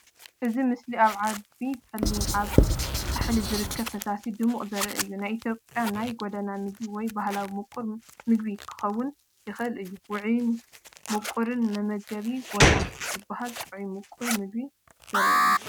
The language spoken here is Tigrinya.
እዚ ምስሊ ኣብ ዓቢ ጸሊም ኣብ ፃሕሊ ዝርከብ ፈሳሲን ድሙቕን ዘርኢ እዩ። ናይ ኢትዮጵያ ናይ ጎደና ምግቢ ወይ ባህላዊ ምቁር ምግቢ ክኸውን ይኽእል እዩ። ውዑይን ምቹውን መመገቢ ቦታ ዝበሃል ጥዑም ምቁር ምግቢ ዘርኢ እዩ።